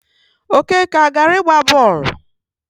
Okeke agara ịgba bọọlụ?